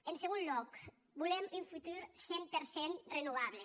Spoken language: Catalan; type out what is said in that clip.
en segon lòc volem un futur cent per cent renovable